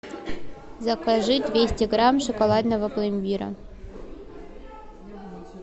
закажи двести грамм шоколадного пломбира